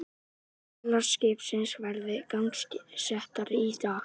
Vélar skipsins verði gangsettar í dag